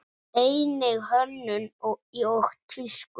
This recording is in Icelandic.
Einnig hönnun og tísku.